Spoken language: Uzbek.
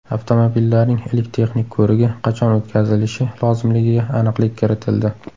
Avtomobillarning ilk texnik ko‘rigi qachon o‘tkazilishi lozimligiga aniqlik kiritildi.